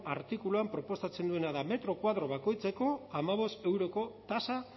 artikuluan proposatzen duena da metro koadro bakoitzeko hamabost euroko tasa